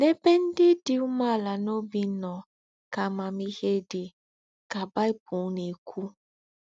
“N’èbè ndí́ dí úmèàlà n’óbí nọ̀ ká àmàmíhé dí,” ká Bible nà-èkwú.